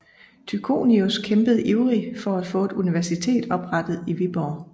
Tychonius kæmpede ivrig for at få et universitet oprettet i Viborg